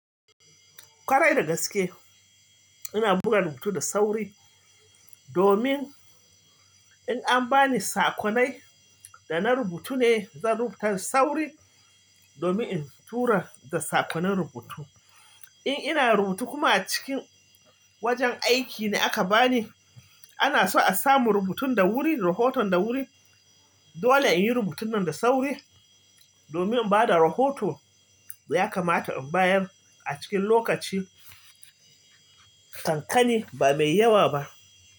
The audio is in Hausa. Kwarai da gaske ina buga rubutu da sauri, domin in an bani sakonai da na rubuta ne, zan rubuta da sauri domin in tura da sakoni rubutu. In ina rubutu kuma a cikin wajen aiki ne aka bani, ana so a samu rubutun da wuri, rahoton da wuri. Dole in yi rubutun nan da sauri domin in ba da rahoto. Ya kamata in bayar a cikin lokaci, kankani ba mai yawa ba.